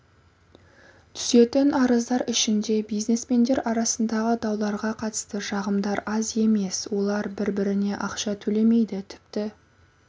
түсетін арыздар ішінде бизнесмендер арасындағы дауларға қатысты шағымдар аз емес олар бір-біріне ақша төлемейді тіпті